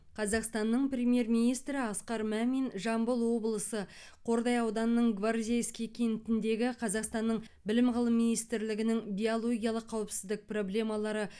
қазақстанның премьер министрі асқар мамин жамбыл облысы қордай ауданының гвардейский кентіндегі қазақстанның білім ғылым министрлігінің биологиялық қауіпсіздік проблемалары